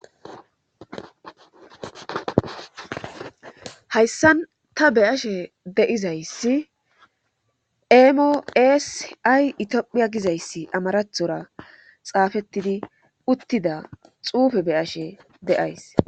Hayssan ta be7ashe da7izayssi eemo eesi ay Itophiya gizayssi amarathora xaafettidi uttida xuufera be7ashe de7ays.